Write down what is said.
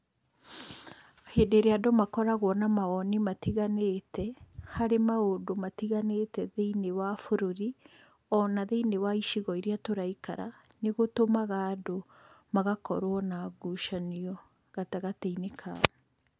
Hĩndĩ ĩrĩa andũ makoragwo na mawoni matiganĩte, harĩ maũndũ matiganĩte thĩiniĩ wa bũrũri, ona thĩiniĩ wa icigo iria tũraikara, nĩ gũtũmaga andũ magakorwo na ngucanio gatagatĩ-inĩ kao.